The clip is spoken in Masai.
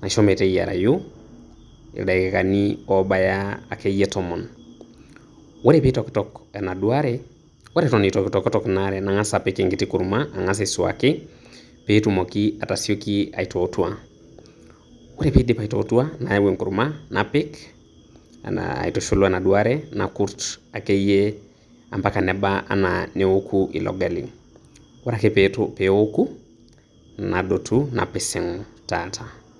naisho meteyiarashu ildakaini oo baya akeyie tomon. Ore pee itokitok enaduo are ore eton eitu eitokitok enaduo are nang`as apik enkiti kurma ang`as aisuaki pee etumoki atasioki aitootua. Ore pee idip aitootua nayau enkurma napik aitushul o enaduao are, nakurrt akeyie o mpaka neba anaa neoku ilo gali. Ore ake pee eoku nadotu napisig taata.